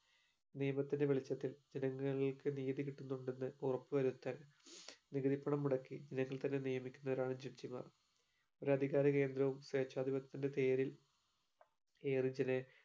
നിയമത്തിന്റെ വെളിച്ചത്തിൽ ജനങ്ങൾക്ക് നീതി കിട്ടുന്നുണ്ടെന്ന് ഉറപ്പ് വരുത്താൻ നികുതിപ്പണം മുടക്കി തന്നെ നിയമിക്കുന്നവരാണ് judge മാർ ഒരു അധികാര കേന്ദ്രവും സേച്ഛാധിപത്യത്തിന്റെ പേരിൽ